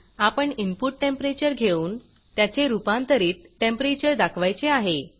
आपण input temperature घेऊन त्याचे रूपांतरित टेंपरेचर दाखवायचे आहे